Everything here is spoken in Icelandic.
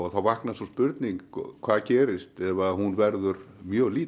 þá vaknar sú spurning hvað gerist ef hún verður mjög lítil